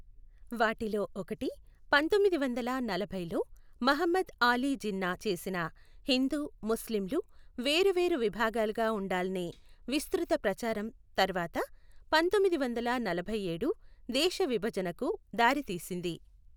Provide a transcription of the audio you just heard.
వాటిలో ఒకటి పందొమ్మిది వందల నలభై లో మహమ్మద్ ఆలీ జిన్నా చేసిన హిందూ, ముస్లింలు వేరు వేరు విభాలుగా ఉండాల్నే విస్తృత ప్రచారం తర్వాత పందొమ్మిది వందల నలభైఏడు దేశ విభజణ కు దారి తీసింది.